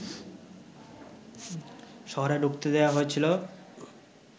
শহরে ঢুকতে দেয়া হয়েছিল